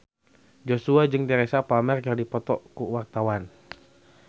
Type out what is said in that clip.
Joshua jeung Teresa Palmer keur dipoto ku wartawan